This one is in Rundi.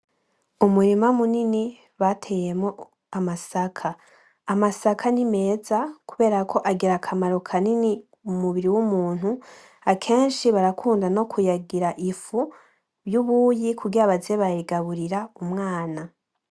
Umurima munini bateyemwo amasaka. Amasaka ni meza kuberako agira akamaro kanini mu mubiri w'umuntu, akenshi barakunda no kuyagira ifu y'ubuyi kugira baze barayigaburira umwana.